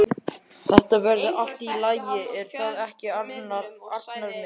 Þetta verður allt í lagi, er það ekki, Arnar minn?